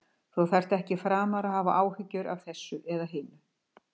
Þú þarft ekki framar að hafa áhyggjur af þessu eða hinu.